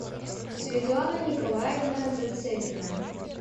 светлана николаевна зацепина